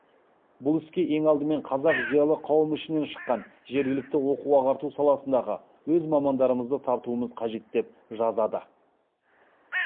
бұл іске ең алдымен қазақ зиялы қауымы ішінен шыққан жергілікті оқу ағарту саласындағы өз мамандарымызды тартуымыз қажет деп жазады